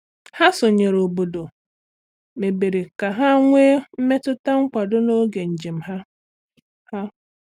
Ha sonyeere obodo mebere ka ha nwee mmetụta nkwado n'oge njem ha. ha.